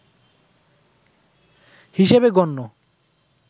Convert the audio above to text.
হিসেবে গণ্য